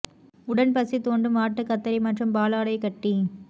உடன் பசி தூண்டும் வாட்டு கத்தரி மற்றும் பாலாடைக்கட்டி